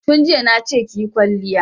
Tun jiya na ce ki yi kwalliya!